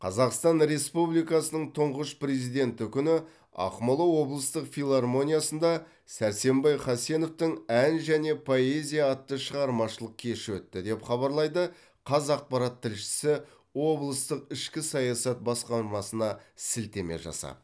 қазақстан республикасының тұңғыш президенті күні ақмола облыстық филармониясында сәрсенбай хасеновтың ән және поэзия атты шығармашылық кеші өтті деп хабарлайды қазақпарат тілшісі облыстық ішкі саясат басқармасына сілтеме жасап